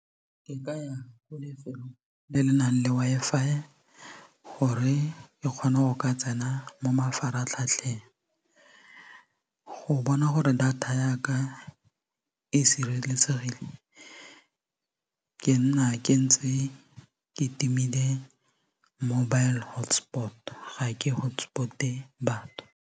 Ke ka go lefelong le le nang le Wi-Fi gore ke kgone go ka tsena mo mafaratlhatlheng go bona gore data yaka e sireletsegileng ke nna ke ntse ke timile mobile hotspot ga ke hotspot-e batho.